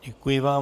Děkuji vám.